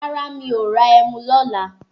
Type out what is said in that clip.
Rárá mi ò ra ẹmu lọ́la.